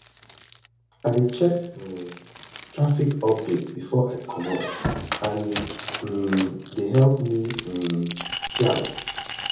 i dey check um traffic updates before i comot and e um dey help me um plan